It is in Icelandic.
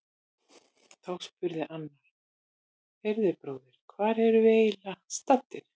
Þá spurði annar: Heyrðu bróðir, hvar erum við eiginlega staddir?